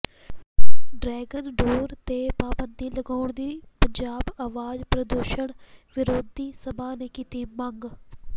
dragon ਡੋਰ ਤੇ ਪਾਬੰਦੀ ਲਗਾਉਣ ਦੀ ਪੰਜਾਬ ਆਵਾਜ਼ ਪ੍ਰਦੂਸ਼ਣ ਵਿਰੋਧੀ ਸਭਾ ਨੇ ਕੀਤੀ ਮੰਗ